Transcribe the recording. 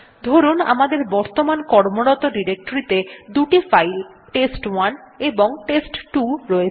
ধরুন আমাদের বর্তমান কর্মরত ডিরেক্টরীতে দুটো ফাইল টেস্ট1 এবং টেস্ট2 রয়েছে